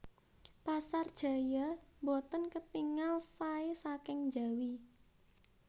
Pasar Jaya mboten ketingal sae saking njawi